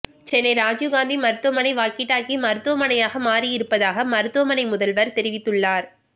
சென்னை ராஜீவ்காந்தி மருத்துவமனை walkie talkie மருத்துவமனையாக மாறி இருப்பதாக மருத்துவமனை முதல்வர் தெரிவித்துள்ளார்